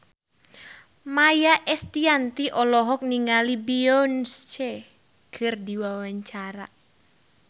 Maia Estianty olohok ningali Beyonce keur diwawancara